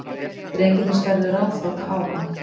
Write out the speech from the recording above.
Drengirnir störðu ráðþrota á hann.